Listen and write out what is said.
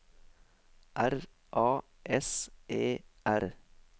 R A S E R